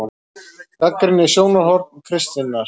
GAGNRÝNIÐ SJÓNARHORN KRISTINNAR